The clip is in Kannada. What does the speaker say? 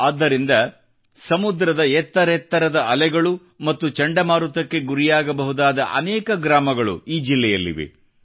ಆದ್ದರಿಂದ ಸಮುದ್ರ ಎತ್ತರೆತ್ತರದ ಅಲೆಗಳು ಮತ್ತು ಚಂಡಮಾರುತಕ್ಕೆ ಗುರಿಯಾಗಬಹುದಾದ ಅನೇಕ ಗ್ರಾಮಗಳು ಈ ಜಿಲ್ಲೆಯಲ್ಲಿವೆ